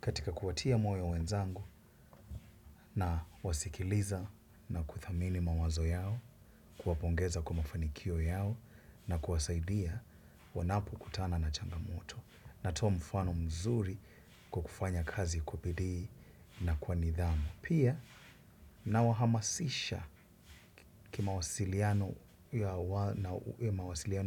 Katika kuwatia moyo wenzangu nawasikiliza na kuthamini mawazo yao, kuwapongeza kwa mafanikio yao na kuwasaidia wanapo kutana na changamoto. Natoa mfano mzuri kwa kufanya kazi kwa bidii na kwa nidhamu pia nawahamasisha kimawasiliano